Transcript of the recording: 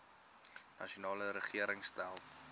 nasionale regering stel